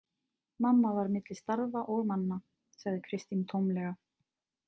Mamma var milli starfa og manna, sagði Kristín tómlega.